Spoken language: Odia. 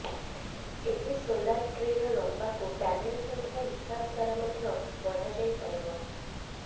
ଏହି ସୋଲାର ଟ୍ରୀର ଲମ୍ବାକୁ ପ୍ୟାନେଲ ସଂଖ୍ୟା ହିସାବ ଦ୍ବାରା ମଧ୍ୟ ବଢ଼ା ଯାଇପାରିବ